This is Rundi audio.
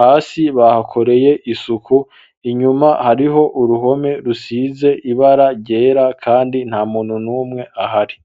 hasi bahakoreye isuku ,inyuma hariho uruhome rusize ibara ryera kandi nta muntu n'umwe ahari.